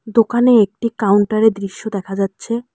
দোকানে একটি কাউন্টার -এর দৃশ্য দেখা যাচ্ছে।